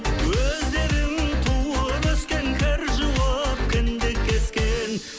өздерің туып өскен кір жуып кіндік кескен